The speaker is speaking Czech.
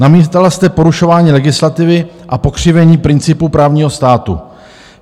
Namítala jste porušování legislativy a pokřivení principu právního státu.